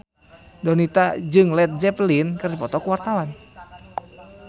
Donita jeung Led Zeppelin keur dipoto ku wartawan